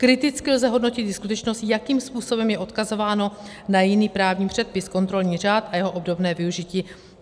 Kriticky lze hodnotit i skutečnost, jakým způsobem je odkazováno na jiný právní předpis, kontrolní řád a jeho obdobné využití.